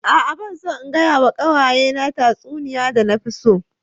A'a ban son in gaya ma kawaye na tatsuniya da na fi so.